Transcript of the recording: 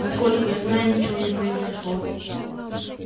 насколько я знаю ничего не произошло